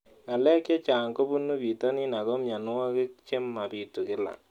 Ng'alek chechang' kopunu pitonin ako mianwogik che mapitu kila